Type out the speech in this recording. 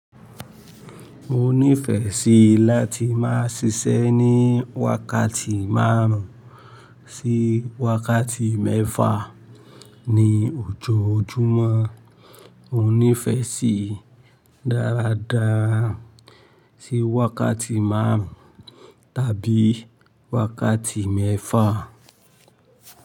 Mo nífẹ̀ẹ́ sí láti máa ṣiṣẹ́ ní wákàtí márùn ún sí wákàtí mẹ́fà ní ojoojúmọ́. Mo nífẹ̀ẹ́ sí dáradára sí wákàtí márùn ún tàbí wákàtí mẹ́fà.